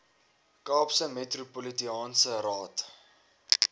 kaapse metropolitaanse raad